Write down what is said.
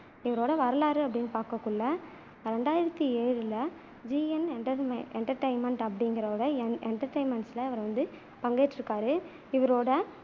இவரோட வரலாறுன்னு பாக்கக்குள்ள ரெண்டாயிரத்தி ஏழுல GN enten entertainment அப்படிங்குறதோ entertainment ல இவரு வந்து பங்கேற்றுருக்காரு இவரோட